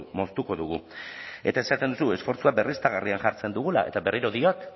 moztuko dugu eta esaten duzu esfortzuak berriztagarrian jartzen dugula eta berriro diot